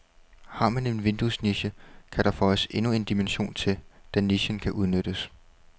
Har man en vinduesniche, kan der føjes endnu en dimension til, da nichen kan udnyttes.